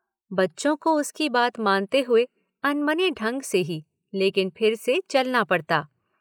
बच्चों को उसकी बात मानते हुए अनमने ढंग से ही लेकिन फिर से चलना पड़ता।